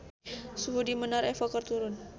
Suhu di Menara Eiffel keur turun